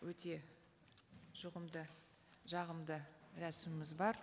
өте жағымды рәсіміміз бар